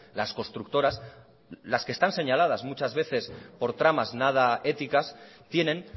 las constructoras las que están señaladas muchas veces por tramas nada éticas tienen